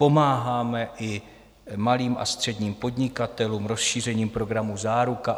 Pomáháme i malým a středním podnikatelům rozšířením programu Záruka.